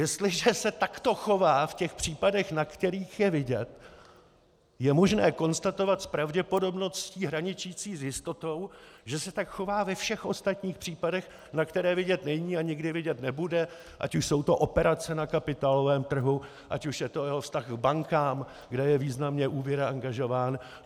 Jestliže se takto chová v těch případech, na kterých je vidět, je možné konstatovat s pravděpodobností hraničící s jistotou, že se tak chová ve všech ostatních případech, na které vidět není a nikdy vidět nebude, ať už jsou to operace na kapitálovém trhu, ať už je to jeho vztah k bankám, kde je významně úvěrově angažován.